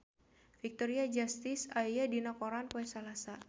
Victoria Justice aya dina koran poe Salasa